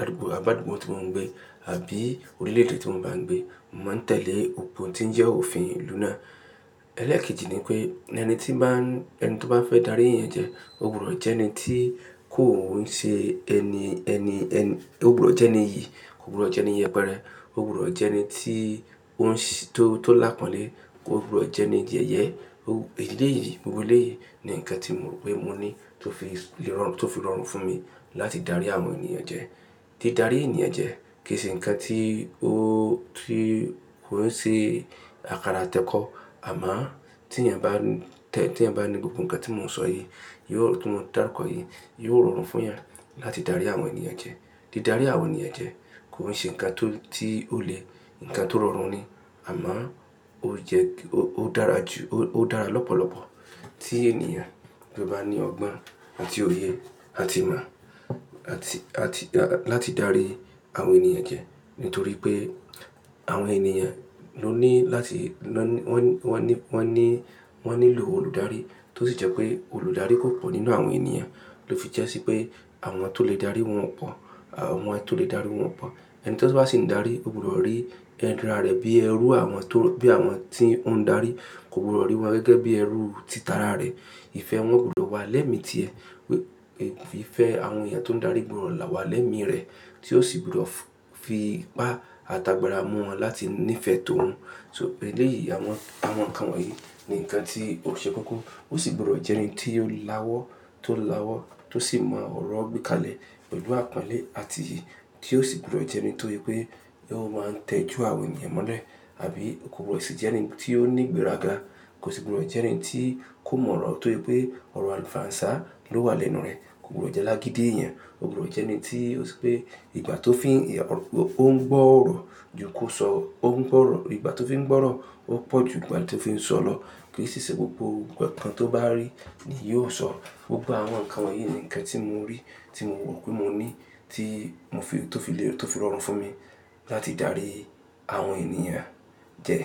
àdúgbò, àdúgbò tí mò ń gbé àbí orílẹ̀ èdè tí mo bá ń gbé, mò ń tẹ̀lé ohun tí ń jẹ́ òfin ìlú náà. Ẹlẹ́ẹ̀kejì ni pé ẹni tí bá ń, ẹni tó bá fẹ́ darí ènìyàn jẹ, ò gbọdọ̀ jẹ́ ẹni tí kò ń ṣe ẹni, ẹni, ẹni, ò gbọdọ̀ jẹ́ ẹni iyì, kò gbọdọ̀ jẹ́ ẹni iyẹ̀pẹ̀rẹ̀, ò gbọdọ̀ jẹ́ ẹni tí ó ń ṣe, tó, tó lápọ̀nlé, kò gbọdọ̀ jẹ́ ẹni ìjẹyẹ. Ò, ìdílé yìí, gbogbo ilé yìí ni nǹkan tí mo rò pé mo ní tó fi lè rọrùn, tó fi rọrùn fún mi láti dárí àwọn ènìyàn jẹ. Tí o darí ènìyàn jẹ kì í ṣe nǹkan tí ó rí, kò ń ṣe àkàrà tẹ̀kọ́. Àmọ́ tí ènìyàn bá tẹ̀, tí ènìyàn bá ní gbogbo nǹkan tí mò ń sọ yìí, tí mò ń dára kọ́ yìí, yóò rọrùn fún ìyẹn láti darí àwọn ènìyàn jẹ. Tí o darí àwọn ènìyàn jẹ kò ń ṣe nǹkan tó, tí ó le nǹkan tó rọrùn ni. Àmọ́ ó jẹ́ kí ó dára jù, ó dára lọ́pọ̀lọpọ̀ tí ènìyàn bá ní ọgbọ́n àti òye àti ìmọ̀ àti, àti láti darí àwọn ènìyàn jẹ. Nítorí pé àwọn ènìyàn ló ní láti lọ ní, wọ́n ní, wọ́n ní, wọ́n nílò olùdarí tó sì jẹ́ pé olùdarí kò pọ̀ nínú àwọn ènìyàn, ló fi jẹ́ sí pé àwọn tó lè dárí wọ́n pọ̀, àwọn tó lè dárí wọ́n pọ̀. Ẹni tí ó bá sì ń darí ò gbọdọ̀ rí ẹ́nrà rẹ̀ bí ẹrú àwọn tó, bí àwọn tí ó ń darí kò gbọdọ̀ rí wọn gẹ́gẹ́ bí ẹrú títara rẹ̀. Ìfẹ́ wọn ò gbọdọ̀ wà lẹ́mì tí ẹ. Wípé ìfẹ́ àwọn ènìyàn tó ń darí gbọrọ̀ là wà lẹ́mì rẹ̀, tí ó sì gbọdọ̀ fi bá ata gbara mú wọn láti nífẹ̀ẹ́ tó hun. So bẹ́ẹ̀ lèyí àwọn, àwọn nǹkan wọ̀nyí ni nǹkan tí ó ṣe kókó. Ó sì gbọdọ̀ jẹ́ ẹni tí yóò láwọ́, tó láwọ́, tó sì mọ ọ̀rọ̀ gbékalẹ̀ pẹ̀lú àpọ́nlé àti yìí tí ó sì gbọdọ̀ jẹ́ ẹni tó yé pé yóò máa ń tẹ ju àwọn ènìyàn mọ́lẹ̀ àbí kò gbọdọ̀ sì jẹ́ ẹni tí ó ní ìgbéraga. Kò sì gbọdọ̀ jẹ́ ẹni tí kò mọ ọ̀rọ̀ tó yé pé ọ̀rọ̀ àǹfàànsà ló wà lẹ́nu rẹ̀. Kò gbọdọ̀ jẹ́ alágídí èèyàn, ò gbọdọ̀ jẹ́ ẹni tí ó ṣe pé ìgbà tó fi ń, ó ń gbọ́ ọ̀rọ̀ ju kí ó sọ, ó ń gbọ́ ọ̀rọ̀, ìgbà tó fi ń gbọ́ ọ̀rọ̀ ó pọ̀ ju ìgbà tí ó fi ń sọ̀rọ̀. Kí sì ṣé gbogbo nǹkan tó bá rí ni yóò sọ. Gbogbo àwọn nǹkan wọ̀nyí ni nǹkan tí mo rí tí mo rò pé mo ní tí mò fi, tó fi lè, tó fi rọrùn fún mi láti dárí àwọn ènìyàn jẹ.